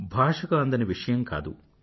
భాషకు అందని విషయం కాదు